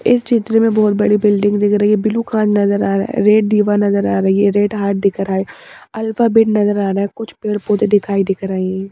इस चित्र में बहुत बड़ी बिल्डिंग दिख रही है ब्लू खान नजर आ रहा है रेड दीवा नजर आ रही है ये रेड हार्ट दिख रहा है अल्फाबेट नजर आ रहा है कुछ पेड़ पौधे दिखाई दिख रहे हैं।